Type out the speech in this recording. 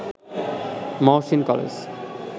Mohsin college